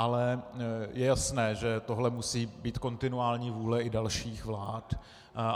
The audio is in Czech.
Ale je jasné, že tohle musí být kontinuální vůle i dalších vlád.